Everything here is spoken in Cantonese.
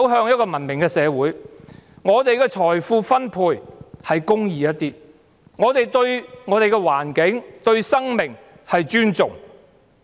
在這個社會中，我們的財富分配是公義一點，我們對我們的土地、環境和生命是尊重。